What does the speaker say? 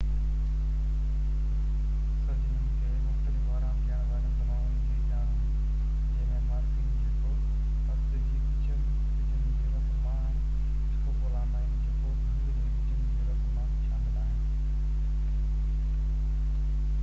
سرجنن کي مختلف آرام ڏيڻ وارين دوائن جي ڄاڻ هئي جنهن ۾ مارفين جيڪو پست جي ٻجن جي رس مان ۽ اسڪوپولامائين جيڪو ڀنگ جي ٻجن جي رس مان شامل آهن